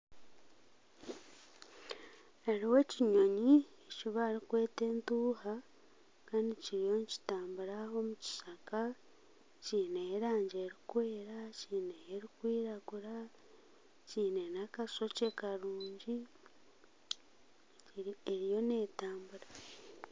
Hariho ekinyonyi eki barikweta entuuha Kandi kiriyo nizitambura omu kishaka kiine erangi erikwera nana erikwiragura kiine akashokye karungi eriyo neetambura